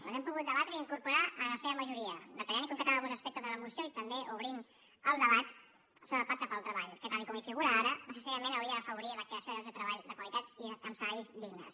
les hem pogut debatre i incorporar en la seva majoria detallant i concretant alguns aspectes de la moció i també obrint el debat sobre el pacte pel treball que tal com hi figura ara necessàriament hauria d’afavorir la creació de llocs de treball de qualitat i amb salaris dignes